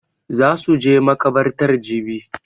Za su je makabartar jibi